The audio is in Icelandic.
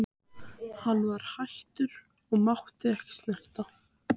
Hann var hættur og mátti ekki snerta.